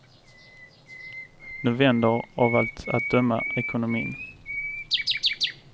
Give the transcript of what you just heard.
Nu vänder av allt att döma ekonomin.